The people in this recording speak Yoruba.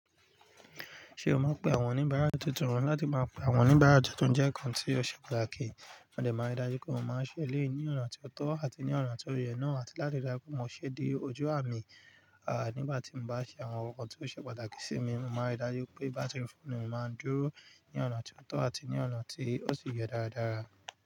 Ṣé o maa n pé àwọn oníbàárà tuntun, láti máa pè àwọn oníbàárà tuntun jẹ́ kan tí ó ṣe pàtàkì, mòde máa ń ri dájú pé mo máa ń ṣẹlẹ̀yi ní ọ̀nà tí ó tọ́ àti ní ọ̀nà tí ó yẹ náà àti láti ri dájú pé mo ṣe de ojú àmì. À nígbà tí mo bá ṣe àwọn nnkan tí ó ṣe pàtàkì sí mi, mo máa ń ri dájú pé bátìrì fóònù mi máa ń dúró ní ọ̀nà tí ó tọ́ àti ní ọ̀nà tí ó sì yẹ dáradára.